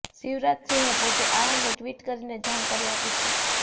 શિવરાજસિંહે પોતે આ અંગે ટ્વિટ કરીને જાણકારી આપી છે